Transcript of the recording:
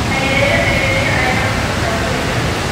Ayeeyo/Ayeeyo ayaa ku rabta guriga.